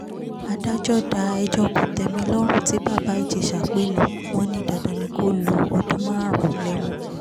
adájọ́ dá ẹjọ́ kòtẹ́milọ́rùn tí bàbá ìjẹsà pè nù wọ́n ní dandan ni kó lo ọdún márùn-ún lẹ́wọ̀n